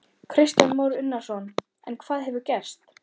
Kristján Már Unnarsson: En hvað hefur gerst?